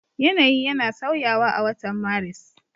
Yanayi yana sauyawa a watan Maris.